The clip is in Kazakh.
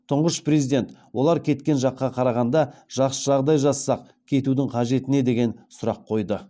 тұңғыш президент олар кеткен жаққа қарағанда жақсы жағдай жасасақ кетудің қажеті не деген сұрақ қойды